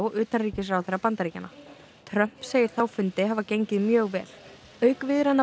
utanríkisráðherra Bandaríkjanna Trump segir þá fundi hafa gengið mjög vel auk viðræðna